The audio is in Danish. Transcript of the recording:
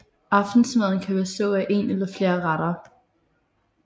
Aftensmaden kan bestå af en eller flere retter